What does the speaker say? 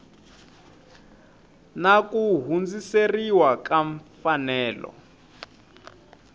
na ku hundziseriwa ka mfanelo